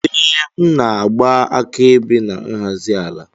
Ee, m na-agba akaebe na nhazi ala